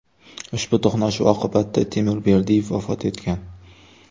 Ushbu to‘qnashuv oqibatida Timur Berdiyev vafot etgan.